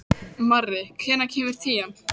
Marri, hvenær kemur tían?